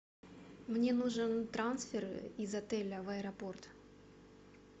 мне нужен трансфер из отеля в аэропорт